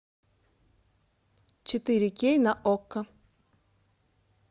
четыре кей на окко